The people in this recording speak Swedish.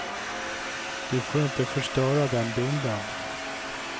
Du får inte förstöra den bilden.